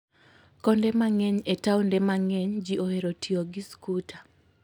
Konde mang'eny e taonde mang'eny ji ohero tiyo gi skuter.